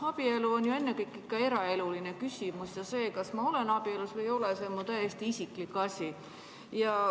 Abielu on ju ennekõike eraeluline küsimus ja see, kas ma olen abielus või ei ole, on täiesti mu isiklik asi.